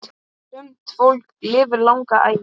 Sumt fólk lifir langa ævi.